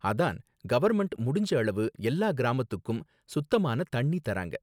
அதான் கவர்ன்மெண்ட் முடிஞ்ச அளவு எல்லா கிராமத்துக்கும் சுத்தமான தண்ணி தராங்க